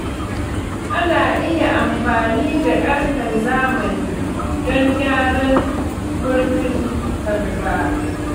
Ana iya amfani da ƙarfen zamani don gyaran murfin kwalba.